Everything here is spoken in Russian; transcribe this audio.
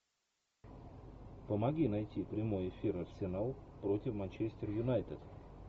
помоги найти прямой эфир арсенал против манчестер юнайтед